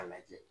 A lajɛ